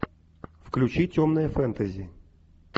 включи темное фэнтези